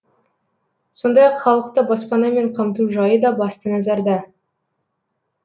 сондай ақ халықты баспанамен қамту жайы да басты назарда